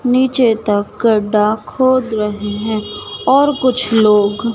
नीचे तक गड्डा खोद रहे है और कुछ लोग--